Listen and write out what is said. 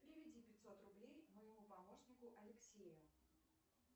переведи пятьсот рублей моему помощнику алексею